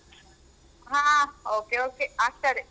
ಅಹ್ Okay okay ಆಗ್ತದೆ.